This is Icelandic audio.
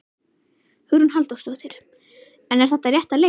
Hugrún Halldórsdóttir: En er þetta rétta leiðin?